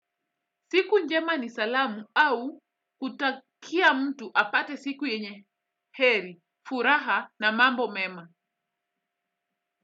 Siku njema ni salamu au, kutakia mtu apate siku yenye. Heri, furaha na mambo mema.